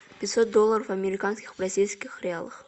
пятьсот долларов американских в бразильских реалах